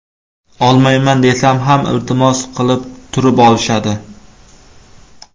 Olmayman desam ham iltimos qilib turib olishadi.